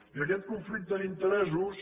i aquest conflicte d’interessos